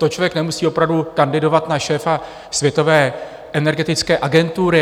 To člověk nemusí opravdu kandidovat na šéfa světové energetické agentury.